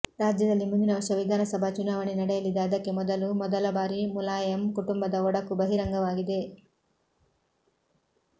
ರಾಜ್ಯದಲ್ಲಿ ಮುಂದಿನ ವರ್ಷ ವಿಧಾನಸಭಾ ಚುನಾವಣೆ ನಡೆಯಲಿದೆ ಅದಕ್ಕೆ ಮೊದಲು ಮೊದಲ ಬಾರಿ ಮುಲಾಯಂ ಕುಟುಂಬದ ಒಡಕು ಬಹಿರಂಗವಾಗಿದೆ